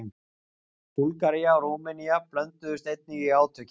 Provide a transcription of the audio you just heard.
Búlgaría og Rúmenía blönduðust einnig í átökin.